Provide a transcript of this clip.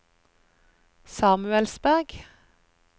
Samuelsberg